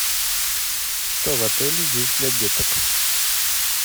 что в отеле есть для деток